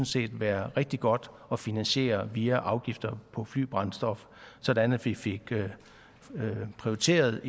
set være rigtig godt at finansiere via afgifter på flybrændstof sådan at vi fik prioriteret